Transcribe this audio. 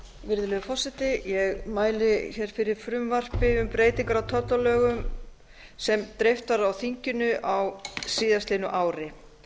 virðulegi forseti ég mæli fyrir frumvarpi um breytingar á tollalögum sem dreift var á þinginu á síðasta ári